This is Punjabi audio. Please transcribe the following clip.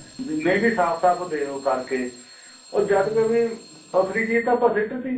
ਨਹੀਂ ਜੀ ਸਾਫ਼ ਸਾਫ਼ ਦੇਦੋ ਕਰਕੇ ਉਹ ਜਦ ਕੇ ਵੀ ਅਸ਼ਲੀ ਚੀਜ ਤਾਂ ਆਪਾਂ ਸਿੱਟ ਤੀ